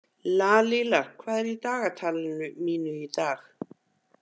Lalíla, hvað er í dagatalinu mínu í dag?